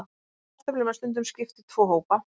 Kartöflum er stundum skipt í tvo hópa.